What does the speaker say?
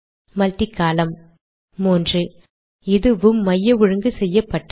multi column மூன்று இதுவும் மைய ஒழுங்கு செய்யப்பட்டது